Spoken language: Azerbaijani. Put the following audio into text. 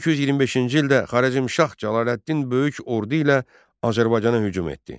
1225-ci ildə Xarəzmşah Cəlaləddin böyük ordu ilə Azərbaycana hücum etdi.